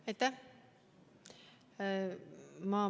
Aitäh!